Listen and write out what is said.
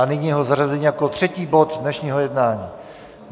A nyní jeho zařazení jako třetí bod dnešního jednání.